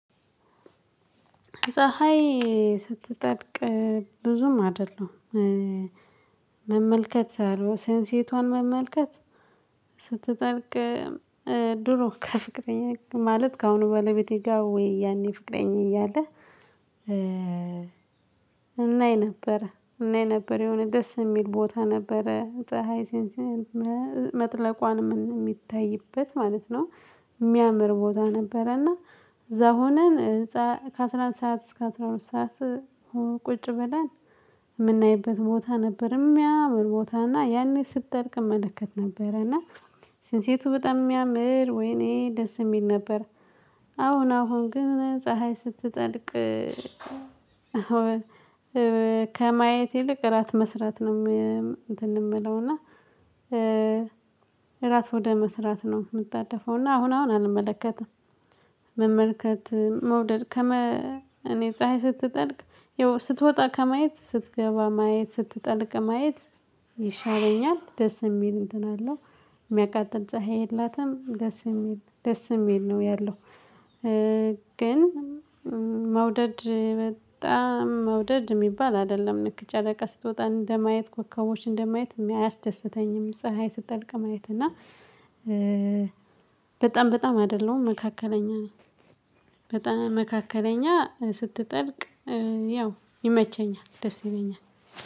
ፀሀይ ስትጠልቅ ብዙም አይደለም መመልከት አለው ሴንሲቷን መመልከት ስትጠልቅ ድሮ ከፍቅረኛ ማለት ከአሁኑ ባለቤቴ ጋር ወይ ያኔ ፍቅረኛ እያለ እናይ ነበር እናይ ነበር የሆነ ደስ የሚል ቦታ ነበረ ፀሀይ ሴንስ መጥለቋን የሚታይበት ማለት ነው። የሚያምር ቦታ ነበረና እዛ ሆነን ከአስራ አንድ ሰዓት እስከ አስራ ሁለት ሰዓት ቁጭ ብለን የምናይበት ቦታ ነበር የሚያምር ቦታና ያኔ ስትጠልቅ እመለከት ነበረና ስንሴቱ በጣም ያምር ወይኔ ደስ የሚል ነበር። አሁን አሁን ግን ፀሀይ ስትጠልቅ ከማየት ይልቅ እራት መስራት ነው የምለው እና እራት ወደ መስራት ነው የምጣደፈው እና አሁን አሁን አልመለከትም። መመልከት መውደድ ከመ እኔ ፀሀይ ስትጠልቅ ይው ስትወጣ ከማየት ስትገባ ማየት ስትጠልቅ ማየት ይሻለኛል ደስ የሚል እንትን አለው። የሚያቃጥል ፀሀይ የላትም ደስ የሚል ደስ የሚል ነው ያለው ግን መውደድ በጣም መውደድ የሚባል አይደለም ልክ ጨረቃ ስትወጣ እንደማየት ኮከቦች እንደማየት አያስደስተኝም ፀሀይ ስትጠልቅ ማየት። እና በጣም በጣም አይደለም መካከለኛ ነኝ በጣም መካከለኛ ስትጠልቅ ያው ይመቸኛል ደስ ይለኛል።